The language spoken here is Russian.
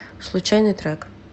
случайный трек